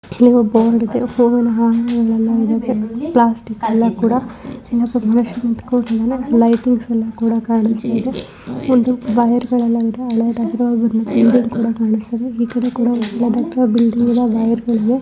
ಇಲ್ಲಿ ಒಬ್ಬ ಹುಡುಗಿ ಫೋನ್ಎಲ್ಲ ಪ್ಲಾಸ್ಟಿಕ್ಎಲ್ಲಾ ಕೂಡ ಫಿಲ್ಮ್ ಉಪನಿಂದ್ಕೊಂಡಿದ್ದಾನೆ ಲೈಟಿಂಗ್ಸ್ ಎಲ್ಲಾ ಕಾಣಿಸ್ತಾ ಇದೆ ಒಂದು ವೈರ್ ಗಳಲ್ಲೆಲ್ಲಾ ಹಳೆದಾಗಿರುವ ಒಂದು ಬಿಲ್ಡಿಂಗ್ ಸಹ ಕಾಣುಸ್ತಾ ಇದೆ ಈ ಕಡೆ ಕೂಡ ಒಳ್ಳೆಯದ ಬಿಲ್ಡಿಂಗ್ ಕೂಡ ಇದ.